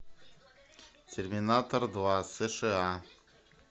терминатор два сша